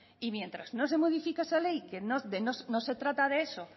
y mientras no se modifique esa ley que no se trata de eso